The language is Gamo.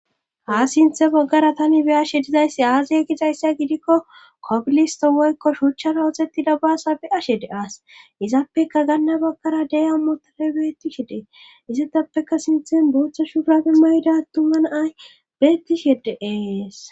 ha sinthe baggara tani be ashe dizayssi aaziya gixayssa gidikko kobilisto woykko shuuchchara oxettida baasa be ashe de as izappeka ganna baggara deya motae bettishe dee isatappeka sinthen booththo shuurabe mayda tuman ay beettishee de7eees